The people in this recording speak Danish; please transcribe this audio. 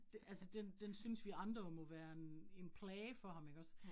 Det altså den den synes vi andre jo må være en en plage for ham ikke også